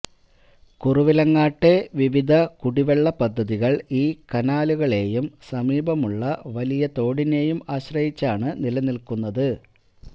കുറവിലങ്ങാട്ടെ വിവിധ കുടിവെള്ള പദ്ധതികള് ഈ കനാലുകളെയും സമീപമുള്ള വലയിതോടിനേയും ആശ്രയിച്ചാണ് നിലനില്ക്കുന്നത്